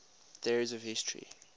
theories of history